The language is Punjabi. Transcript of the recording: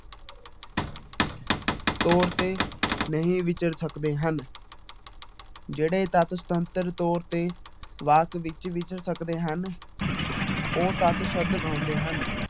ਤੌਰ ਤੇ ਨਹੀਂ ਵਿਚਰ ਸਕਦੇ ਹਨ ਜਿਹੜੇ ਤੱਤ ਸੁਤੰਤਰ ਤੌਰ ਤੇ ਵਾਕ ਵਿੱਚ ਵਿਚਰ ਸਕਦੇ ਹਨ ਉਹ ਤੱਤ ਸ਼ਬਦ ਕਹਾਉਂਦੇ ਹਨ।